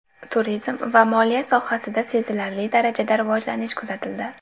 Turizm va moliya sohasida sezilarli darajada rivojlanish kuzatildi.